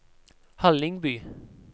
Hallingby